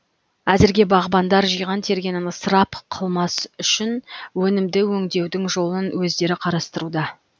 әзірге бағбандар жиған тергенін ысырап қылмас үшін өнімді өңдеудің жолын өздері қарастыруда